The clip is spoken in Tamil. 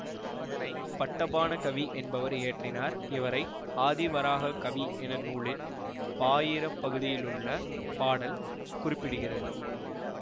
இதனை பட்டபாண கவி என்பவர் இயற்றினார் இவரை ஆதிவராக கவி என நூலின் பாயிரப்பகுதியிலுள்ள பாடல் குறிப்பிடுகிறது